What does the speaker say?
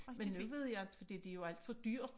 Men nu ved jeg inte fordi det jo alt for dyrt